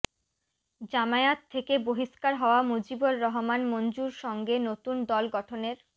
জামায়াত থেকে বহিষ্কার হওয়া মজিবুর রহমান মঞ্জুর সঙ্গে নতুন দল গঠনের